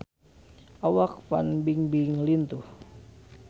Awak Fan Bingbing lintuh